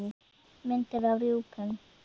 Myndir af rjúpum